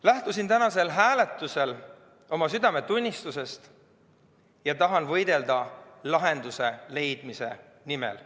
Lähtusin tänasel hääletusel oma südametunnistusest ja tahan võidelda lahenduse leidmise nimel.